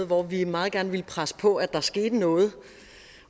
hvor vi meget gerne ville presse på for at der skete noget